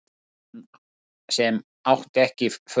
Hann sem átti ekki föt